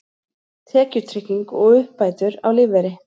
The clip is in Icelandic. Tekjutrygging og uppbætur á lífeyri.